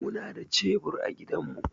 Muna da cebur a gidanmu.